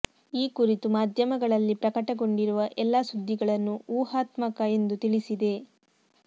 ಈ ಕುರಿತು ಮಾಧ್ಯಮಗಳಲ್ಲಿ ಪ್ರಕಟಗೊಂಡಿರುವ ಎಲ್ಲಾ ಸುದ್ದಿಗಳನ್ನು ಊಹಾತ್ಮಕ ಎಂದು ತಿಳಿಸಿದೆ